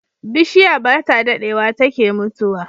Bishiya bata dadewa take mutuwa